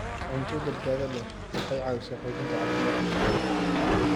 Cunto badbaado leh waxay caawisaa xoojinta caafimaadka jidhka.